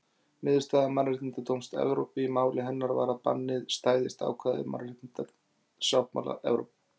Niðurstaða Mannréttindadómstóls Evrópu í máli hennar var að bannið stæðist ákvæði mannréttindasáttmála Evrópu.